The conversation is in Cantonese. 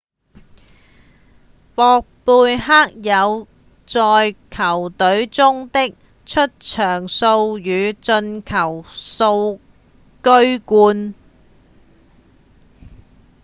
博貝克在球隊中的出場數與進球數居冠